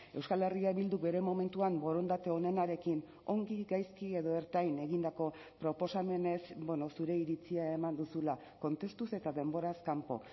euskal herria bilduk bere momentuan borondate onenarekin ongi gaizki edo ertain egindako proposamenez zure iritzia eman duzula kontestuz eta denboraz kanpo